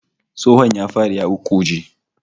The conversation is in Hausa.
Tsohon ya fadi ya ƙuƙƙuje